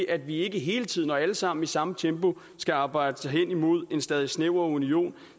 at vi ikke hele tiden og alle sammen i samme tempo skal arbejde os hen imod en stadig mere snæver union